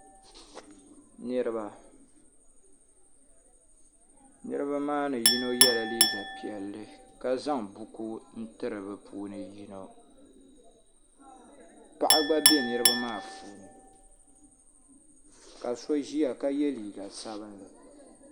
niriba niriba maa ni yino yɛla liga piɛlli ka zaŋ buku tɛri bɛ puuni yino paɣ' gba bɛ niriba ni ka so ʒɛya ka yɛ liga sabinli